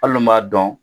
Hali n'u m'a dɔn